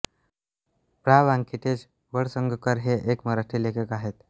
प्रा व्यंकटेश वळसंगकर हे एक मराठी लेखक आहेत